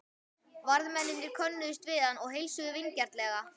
Varðmennirnir könnuðust við hann og heilsuðu vingjarnlega.